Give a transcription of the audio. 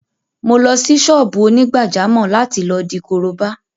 Mo lọ sí ṣọ́ọ́bù onígbàjámọ̀ láti lọ di korobá